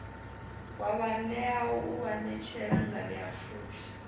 wa vhaanewa u anetshela nganeapfhufhi